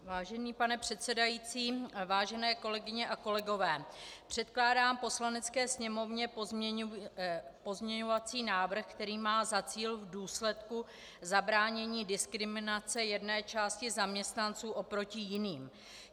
Vážený pane předsedající, vážené kolegyně a kolegové, předkládám Poslanecké sněmovně pozměňovací návrh, který má za cíl v důsledku zabránění diskriminace jedné části zaměstnanců oproti jiným.